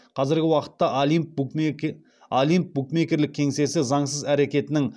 қазіргі уақытта олимп букмекерлік кеңсесі заңсыз әрекетінің